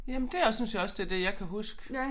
Jamen det også synes jeg også det det jeg kan huske